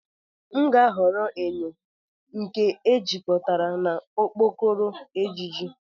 M ga-ahọrọ enyo m nke ejikọtara na okpokoro ejiji.